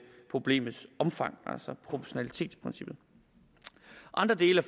problemets omfang altså proportionalitetsprincippet andre dele